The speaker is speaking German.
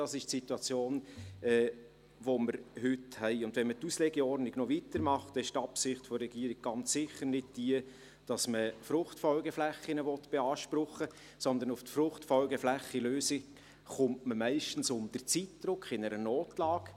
Das ist die Situation, die wir heute haben, und wenn wir die Auslegeordnung noch weiter machen, dann ist die Absicht der Regierung ganz sicher nicht jene, dass man FFF beanspruchen will, sondern auf die FFFLösung kommt man meist unter Zeitdruck, in einer Notlage.